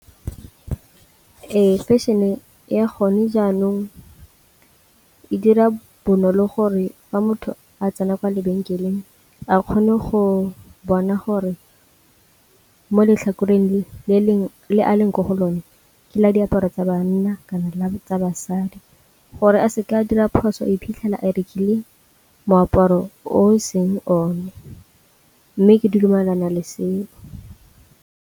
Ee, fashion-e ya gone jaanong e dira bonolo gore fa motho a tsena kwa lebenkeleng a kgone go bona gore mo letlhakoreng le a leng mo go lone ke la diaparo tsa banna kana la tsa basadi, gore a seke a dira phoso iphitlhela a rekile moaparo o e seng one mme ke dumelana le seo.